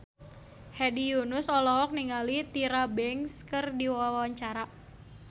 Hedi Yunus olohok ningali Tyra Banks keur diwawancara